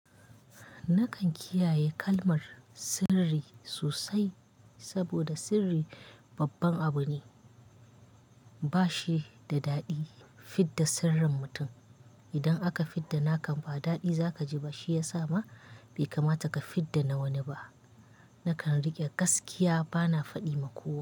Nakan kiyaye kalmar sirri sosai saboda sirri babban abu ne. Ba shi da daɗi fidda sirrin mutum. Idan aka fidda naka ba daɗi za kaji ba shi yasa ma bai kamata ka fidda na wani ba. Nakan riƙe gaskiya bana faɗi ma kowa.